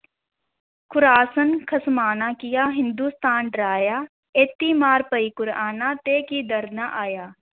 Khorasan ਖ਼ੁਸਮਾਨਾ ਕੀਆ, ਹਿੰਦੁਸਤਾਨ ਡਰਾਇਆ ਏਤੀ ਮਾਰ ਪਈ ਤੈਂ ਕੀ ਦਰਦ ਨਾ ਆਇਆ।